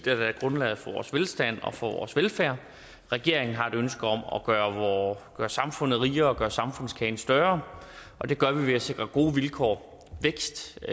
har været grundlaget for vores velstand og for vores velfærd regeringen har et ønske om at gøre samfundet rigere gøre samfundskagen større og det gør vi ved at sikre gode vilkår vækst